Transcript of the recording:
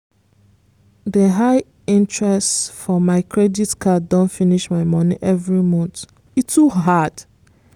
the high interest for my credit card don finish my money every month—e too hard!